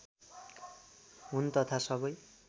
हुन् तथा सबै